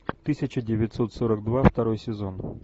тысяча девятьсот сорок два второй сезон